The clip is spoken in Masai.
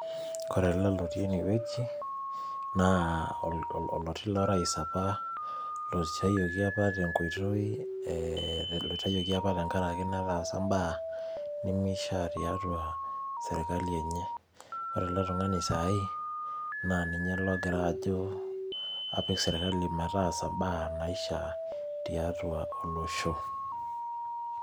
Ore ele lotii ene wueji, naa oloti lorais opa, oitayioki tenkoitoi, laitayioki opa tenkaraki nataasa imbaa nemeishaa tiatua serkali enye. Ore ele tung'ani saaai, naa ninye logira ajo, apik serrkali metaasa imbaa naishaa tiatua olosho.